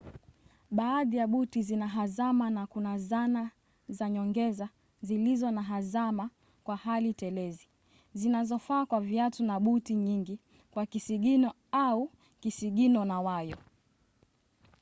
baadhi ya buti zina hazama na kuna zana za nyongeza zilizo na hazama kwa hali telezi zinazofaa kwa viatu na buti nyingi kwa kisigino au kisigino na wayo